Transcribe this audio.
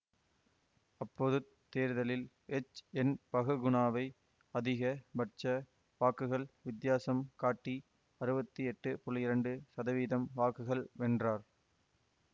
அப்பொதுத் தேர்தலில் எச்என்பகுகுணாவை அதிக பட்ச வாக்குகள் வித்தியாசம் காட்டி அறுவத்தி எட்டு புள்ளி இரண்டு சதவீதம் வாக்குகள் வென்றார்